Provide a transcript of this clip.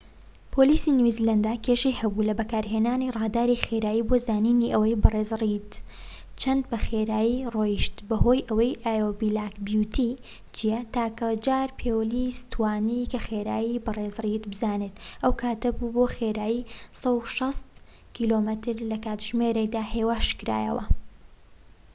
پۆلیسی نیوزیلاندا کێشەی هەبوو لە بەکارهێنانی ڕاداری خێرایی بۆ زانینی ئەوەی بەڕێز ڕێید چەندە بە خێرایی دەڕۆیشت بەهۆی ئەوەی ئایۆو بلاک بیوتی چیە، تاکە جار پۆلیس توانی کە خێرایی بە ڕیز ڕێید بزانێت ئەو کاتە بوو بۆ خێرایی 160 کم/کاتژمێر هێواشکرایەوە